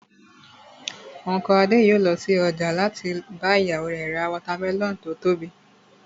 Unku Adé yòó lọ sí ọjà láti bá ìyàwó rẹ̀ ra watermelon tó tóbi